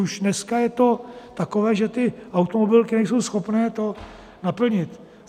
Už dneska je to takové, že ty automobilky nejsou schopné to naplnit.